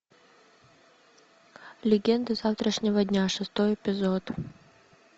легенды завтрашнего дня шестой эпизод